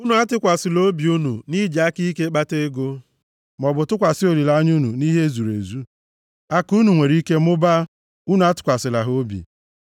Unu atụkwasịla obi unu nʼiji aka ike kpata ego, maọbụ tụkwasị olileanya unu nʼihe e zuru ezu; akụ unu nwere ike mụbaa, unu atụkwasịla ha obi.